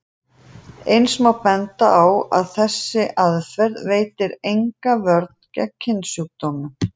Eins má benda á að þessi aðferð veitir enga vörn gegn kynsjúkdómum.